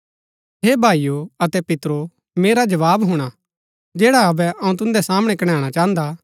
हे भाईओ अतै पितरो मेरा जवाव हुणा जैडा अबै अऊँ तुन्दै सामणै कणैणा चाहन्दा